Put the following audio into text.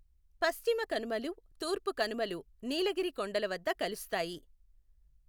పశ్చిమ కనుమలు, తూర్పు కనుమలు నీలగిరి కొండల వద్ద కలుస్తాయి.